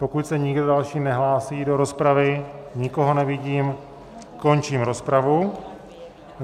Pokud se nikdo další nehlásí do rozpravy, nikoho nevidím, končím rozpravu.